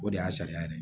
O de y'a sariya ye